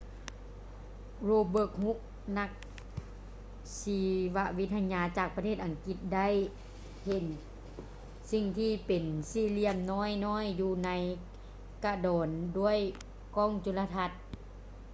robert hooke ນັກຊີວະວິທະຍາຈາກປະເທດອັງກິດ ໄດ້ເຫັນສິ່ງທີ່ເປັນສີ່ຫລ່ຽມນ້ອຍໆຢູ່ໃນກະດອນດ້ວຍກ້ອງຈຸລະທັດ